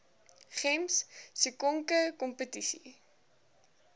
gems sisonke kompetisie